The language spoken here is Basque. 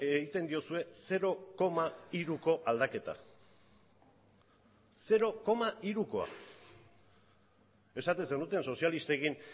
egiten diozue zero koma hiruko aldaketa zero koma hirukoa esaten zenuten sozialistekin